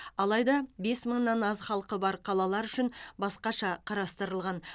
алайда бес мыңнан аз халқы бар қалалар үшін басқаша қарастырылған